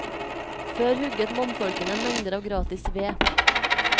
Før hugget mannfolkene mengder av gratis ved.